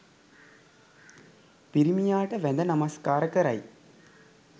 පිරිමියාට වැඳ නමස්කාර කරයි